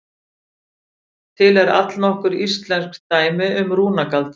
Til eru allnokkur íslensk dæmi um rúnagaldur.